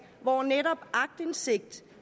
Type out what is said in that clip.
hvor netop aktindsigt